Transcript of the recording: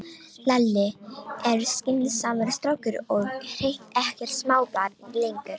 Lalli er skynsamur strákur og hreint ekkert smábarn lengur.